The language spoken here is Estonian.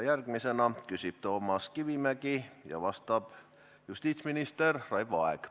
Järgmisena küsib Toomas Kivimägi ja vastab justiitsminister Raivo Aeg.